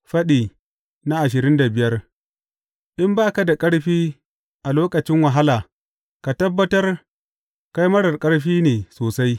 Faɗi ashirin da biyar In ba ka da ƙarfi a lokacin wahala, ka tabbatar kai marar ƙarfi ne sosai!